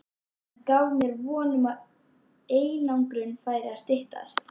Hann gaf mér von um að einangrunin færi að styttast.